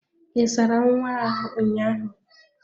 Ị sara nwa ahụ ụnyaahụ?